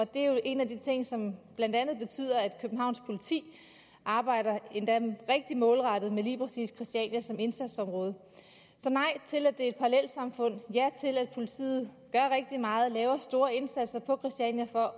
det er jo en af de ting som blandt andet betyder at københavns politi arbejder endda rigtig målrettet med lige præcis christiania som indsatsområde så nej til at det er et parallelsamfund og ja til at politiet gør rigtig meget og laver store indsatser på christiania for